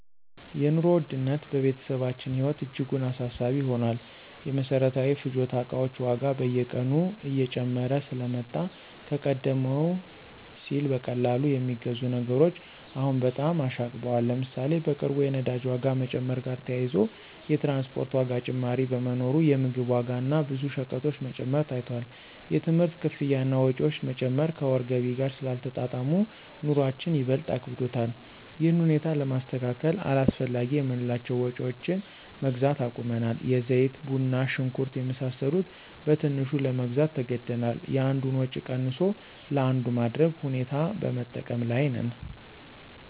የኑሮ ውድነት በቤተሰባችን ህይወት እጅጉን አሳሳቢ ሆኗል። የመሰረታዊ ፍጆታ እቃዎች ዋጋ በየቀኑ እየጨመረ ስለመጣ ከቀደም ሲል በቀላሉ የሚገዙ ነገሮች አሁን በጣም አሻቅበዋል። ለምሳሌ፣ በቅርቡ የነዳጅ ዋጋ መጨመር ጋር ተያይዞ የትራንስፖርት ዋጋ ጭማሪ በመኖሩ የምግብ ዋጋ እና ብዙ ሸቀጦች መጨመር ታይቷል። የትምህርት ክፍያ እና ወጪዎች መጨመር ከወር ገቢ ጋር ስላልተጣጣሙ፣ ኑሮአችን ይበልጥ አክብዶታል። ይህን ሁኔታ ለማስተካከል አላስፈላጊ የምንላቸውን ወጭዎች መግዛት አቁመናል። የዘይት፣ ቡና፣ ሽንኩርት የመሳሰሉ በትንሹ ለመግዛት ተገደናል። የአንዱን ወጭ ቀንሶ ለአንዱ ማድረግ ሁኔታ በመጠቀም ላይ ነን።